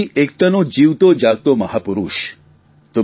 દેશની એકતાનો જીવતોજાગતો મહાપુરૂષ